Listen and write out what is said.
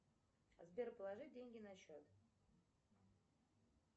сбер положи деньги на счет